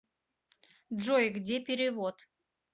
джой где перевод